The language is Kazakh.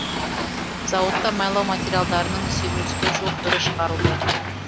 зауытта майлау материалдарының сегіз жүзге жуық түрі шығарылады